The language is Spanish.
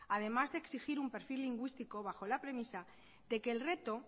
además de exigir un perfil lingüístico bajo la premisa de que el reto